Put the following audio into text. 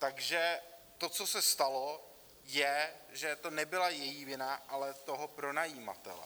Takže to, co se stalo, je, že to nebyla její vina, ale toho pronajímatele.